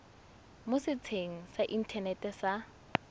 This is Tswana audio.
mo setsheng sa inthanete sa